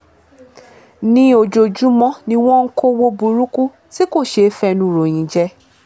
ní ojoojúmọ́ ni wọ́n ń kọ́wọ́ burúkú tí kò ṣeé fẹnu ròyìn jẹ́